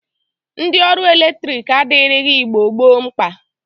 Ndi ọrụ eletrik adirighi Igbo gboo mkpa.